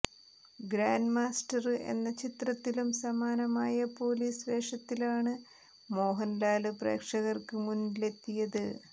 Grandmaster എന്ന ചിത്രത്തിലും സമാനമായ പോലീസ് വേഷത്തിലാണ് മോഹന്ലാല് പ്രേക്ഷകര്ക്ക് മുന്നിലെത്തിയത്